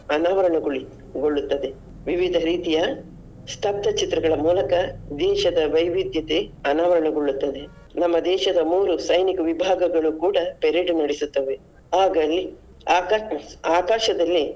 ಅನಾವರಣ ಗೋಳಿ~ ಗೊಳ್ಳುತ್ತದೆ ವಿವಿಧ ರೀತಿಯ ಸ್ತಬ್ಧ ಚಿತ್ರಗಳ ಮೂಲಕ ದೇಶದ ವೈವಿದ್ಯತೆ ಅನಾವರಣಗೊಳ್ಳುತ್ತದೆ. ನಮ್ಮ ದೇಶದ ಮೂರು ಸೈನಿಕ ವಿಭಾಗಗಳು ಕೂಡ parade ನಡೆಸುತ್ತವೆ ಆಗಲೇ ಆಕಾ~ ಆಕಾಶದಲ್ಲಿ.